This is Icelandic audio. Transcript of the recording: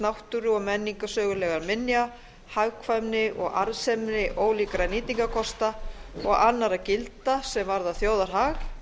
náttúru og menningarsögulegra minja hagkvæmni og arðsemi ólíkra nýtingarkosta og annarra gilda sem varða þjóðarhag